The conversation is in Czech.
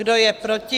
Kdo je proti?